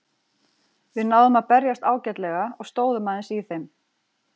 Við náðum að berjast ágætlega og stóðum aðeins í þeim.